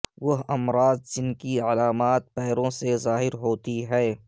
وہ امراض جن کی علامات پیروں سے ظاہر ہوتی ہیں